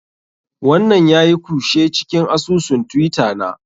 Wannan yayi kushe cikin asusun twitter na.